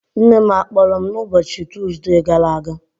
Nne m a kpọrọ m n'ụbọchị Tuuzde gara aga?